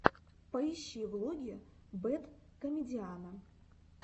поищи влоги бэд комедиана